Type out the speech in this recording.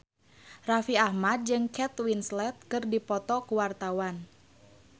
Raffi Ahmad jeung Kate Winslet keur dipoto ku wartawan